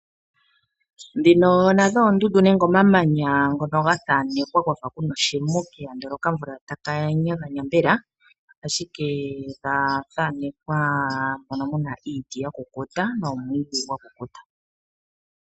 Oondundu dhimwe ohadhi thanekwa ethimbo ndyono haku kala kwa fa ku na oshimuke, ohapu kala wo pe na omwiidhi oshowo iiti ya kukuta.